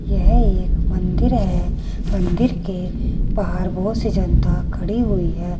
यह एक मंदिर है मंदिर के बाहर बहोत सी जनता खड़ी हुई है।